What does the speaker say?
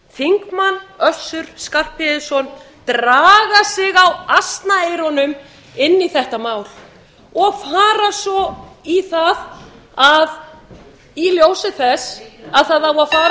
þingmaður össur skarphéðinsson draga sig á asnaeyrunum inn í þetta mál og fara svo í það að í ljósi þess að það á að fara með það mál